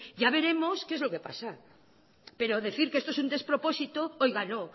ya veremos qué es lo que pasa pero decir que esto es un despropósito oiga no